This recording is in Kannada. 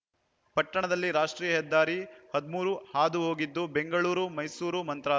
ಪಟ್ಟಣದಲ್ಲಿ ರಾಷ್ಟ್ರೀಯ ಹೆದ್ದಾರಿ ಹದ್ ಮೂರು ಹಾದು ಹೋಗಿದ್ದು ಬೆಂಗಳೂರು ಮೈಸೂರು ಮಂತ್ರಾ